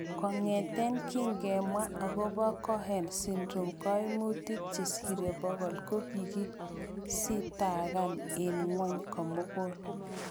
Kong'eten kingemwa agobo Cohen syndrome, koimutik chesire pokol kokikesitakan en ng'wony komugul.